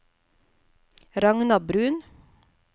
Ragna Bruun